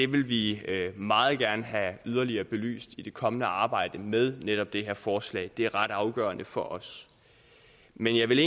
vil vi meget gerne have yderligere belyst i det kommende arbejde med netop det her forslag det er ret afgørende for os men jeg vil